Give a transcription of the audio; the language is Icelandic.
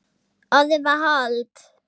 Orðið varð hold.